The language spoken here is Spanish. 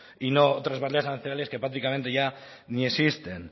otros arancelarias que prácticamente ya ni existen